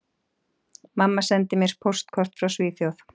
Mamma sendi mér póstkort frá Svíþjóð